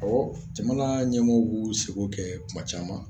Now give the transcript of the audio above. Ɔwɔ jamana ɲɛmɔgɔw b'u seko kɛ tuma caman